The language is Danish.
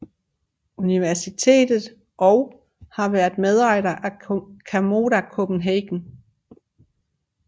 Universitet og har været medejer af Camoda Copenhagen